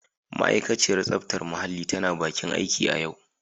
Ma'aikaciyar tsaftar muhalli tana bakin aiki a yau.